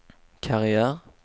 karriär